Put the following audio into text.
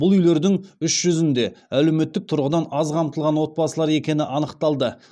бұл үйлердің үш жүзінде әлеуметтік тұрғыдан аз қамтылған отбасылар екені анықталды